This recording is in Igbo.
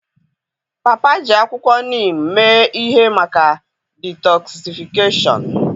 Papa ji akwụkwọ Neem mee ihe maka detoksịfikashiọn.